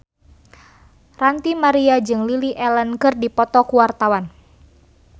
Ranty Maria jeung Lily Allen keur dipoto ku wartawan